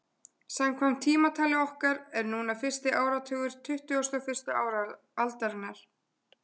Samkvæmt tímatali okkar er núna fyrsti áratugur tuttugustu og fyrstu aldar.